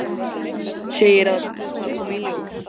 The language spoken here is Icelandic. Segir að það komi í ljós.